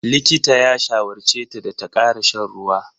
Likitan ya shawarce ta da ta ƙara shan ruwa.